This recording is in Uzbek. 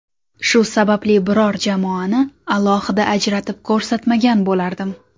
Shu sababli biror jamoani alohida ajratib ko‘rsatmagan bo‘lardim.